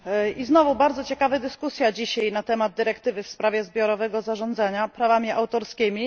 I znowu bardzo ciekawa dyskusja dzisiaj na temat dyrektywy w sprawie zbiorowego zarządzania prawami autorskimi.